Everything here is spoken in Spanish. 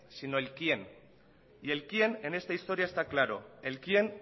sino el quién y el quién en esta historia está claro el quién